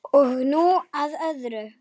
Og nú að öðru.